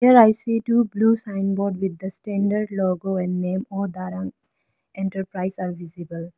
Here I see two blue sign board with the standard logo and name o darang enterprise are visible.